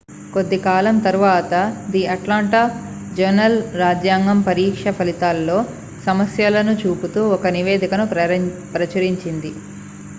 కొద్ది కాలం తరువాత ది అట్లాంటా జర్నల్-రాజ్యాంగం పరీక్షా ఫలితాలతో సమస్యలను చూపుతూ ఒక నివేదికను ప్రచురించింది